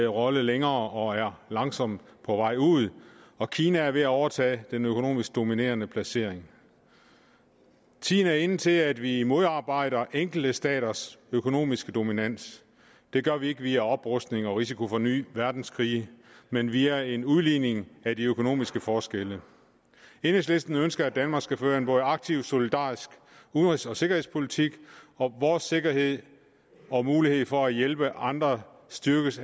rolle længere og er langsomt på vej ud og kina er ved at overtage den økonomisk dominerende placering tiden er inde til at vi modarbejder enkelte staters økonomiske dominans det gør vi ikke via oprustning og risiko for nye verdenskrige men via en udligning af de økonomiske forskelle enhedslisten ønsker at danmark skal føre en både aktiv solidarisk udenrigs og sikkerhedspolitik og at vores sikkerhed og mulighed for at hjælpe andre styrkes